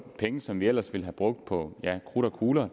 penge som vi ellers ville have brugt på krudt og kugler